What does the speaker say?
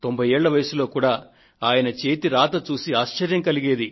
90 ఏళ్ల వయసులో కూడా ఆయన చేతి రాతను చూసి ఆశ్చర్యం కలిగేది